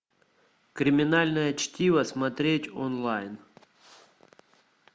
криминальное чтиво смотреть онлайн